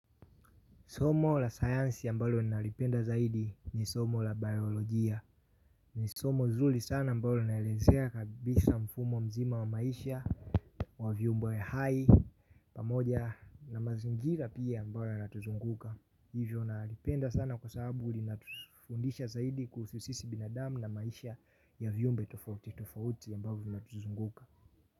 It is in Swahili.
Somo la science ambalo ninalolipenda zaidi ni somo la biologia. Ni somo zuri sana ambalo linaelezea kabisa mfumo mzima wa maisha. Wavyumbe ya hai pamoja na mazingira pia ambayo yanatuzunguka. Hivyo naalipenda sana kwa sababu linatufundisha zaidi kuhusu sisi binadamu na maisha ya vyumbe tufauti. Tufauti ambavyo vinatuzunguka.